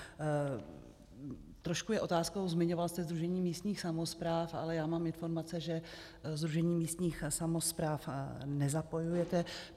Trošku je otázkou - zmiňoval jste Sdružení místních samospráv, ale já mám informace, že Sdružení místních samospráv nezapojujete.